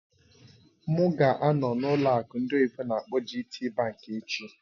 M ga-anọ na ụlọ akụ ndị oyibo n'akpọ "GTBank" echi